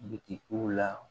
Bitigiw la